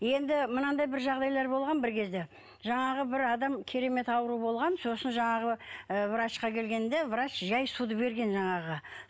енді мынандай бір жағдайлар болған бір кезде жаңағы бір адам керемет ауру болған сосын жаңағы ы врачқа кіргенде врач жай суды берген жаңағыға